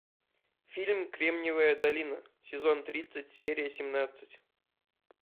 фильм кремниевая долина сезон тридцать серия семнадцать